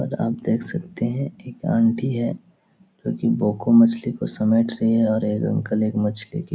और आप देख सकते हैं एक आंटी है जो की बोको मछली को समेट रही है और एक अंकल एक मछली की --